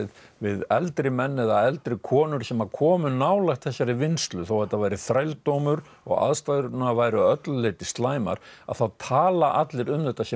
við eldri menn eða eldri konur sem að komu nálægt þessari vinnslu þó þetta væri þrældómur og aðstæðurnar væru að öllu leyti slæmar að þá tala allir um þetta sem